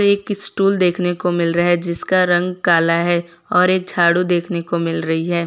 एक स्टूल देखने को मिल रहा है जिसका रंग काला है और एक झाड़ू देखने को मिल रही है।